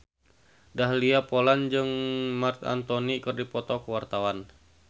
Dahlia Poland jeung Marc Anthony keur dipoto ku wartawan